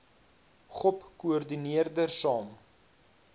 gop koördineerder saam